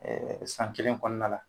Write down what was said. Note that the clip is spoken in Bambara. Ɛɛ san kelen kɔnɔna la